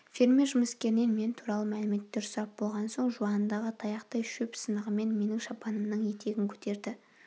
фермер жұмыскерінен мен туралы мәліметтер сұрап болған соң жуандығы таяқтай шөп сынығымен менің шапанымның етегін көтерді